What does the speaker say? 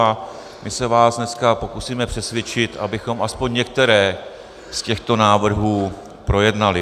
A my se vás dneska pokusíme přesvědčit, abychom aspoň některé z těchto návrhů projednali.